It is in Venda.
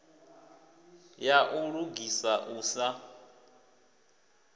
ya u lugisa u sa